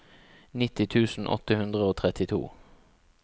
nitti tusen åtte hundre og trettito